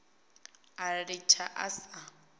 a litsha a sa a